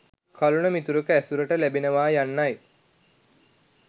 කලණ මිතුරෙකු ඇසුරට ලැබේවා යන්නයි.